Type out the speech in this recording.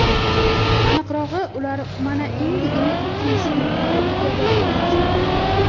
Aniqrog‘i, ular mana endigina ikkinchi yil yuqori ligada o‘ynashmoqda.